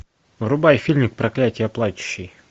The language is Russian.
врубай фильм проклятие плачущей